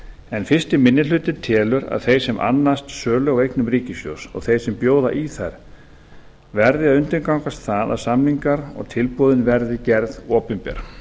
en fyrsti minni hluti telur að þeir sem annast sölu á eignum ríkissjóðs og þeir sem bjóða í þær verði að undirgangast það að samningar og tilboðin verði gerð opinber